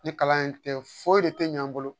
Ni kalan in tɛ foyi de tɛ ɲ'an bolo